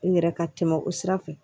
N yɛrɛ ka tɛmɛ o sira fɛ